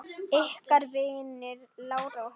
Ykkar vinir, Lára og Helgi.